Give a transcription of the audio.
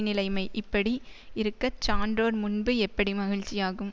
நிலைமை இப்படி இருக்க சான்றோர் முன்பு எப்படி மகிழ்ச்சியாகும்